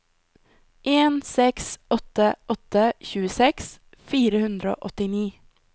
en seks åtte åtte tjueseks fire hundre og åttini